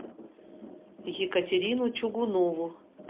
екатерину чугунову